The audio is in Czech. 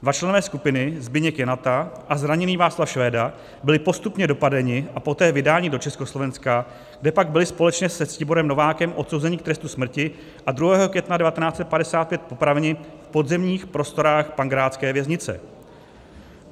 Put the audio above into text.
Dva členové skupiny, Zbyněk Janata a zraněný Václav Švéda, byli postupně dopadeni a poté vydáni do Československa, kde pak byli společně se Ctiborem Novákem odsouzeni k trestu smrti a 2. května 1955 popraveni v podzemních prostorách pankrácké věznice.